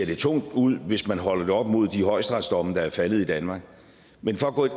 det tungt ud hvis man holder det op mod de højesteretsdomme der er faldet i danmark men for at gå ind